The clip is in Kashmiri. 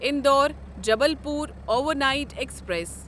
Indore Jabalpur overnight express